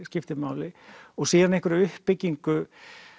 skiptir máli og síðan einhverri uppbyggingu